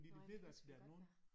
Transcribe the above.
Nåh ja det kan selvfølgelig godt være